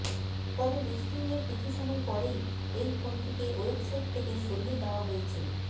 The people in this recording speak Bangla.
তবে লিস্টিং এর কিছু সময় পরেই এই ফোনটিকে ওয়েবসাইট থেকে সরিয়ে দেওয়া হয়েছে